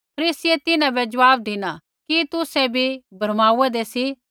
फरीसियै तिन्हां बै ज़वाब धिना कि तुसै भी भरमाउन्दै सी